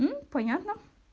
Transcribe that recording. мм понятно